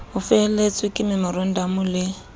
ho felehetswa ke memorandamo le